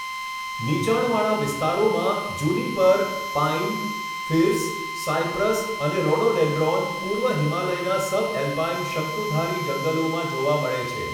નીચાણવાળા વિસ્તારોમાં juniper, pine, firs, cypress અને રોડોડેન્ડ્રોન પૂર્વ હિમાલયના સબએલ્પાઇન શંકુધારી જંગલોમાં જોવા મળે છે.